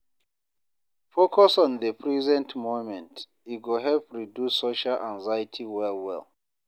Focus on the present moment, e go help reduce social anxiety well well.